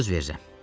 Söz verirəm.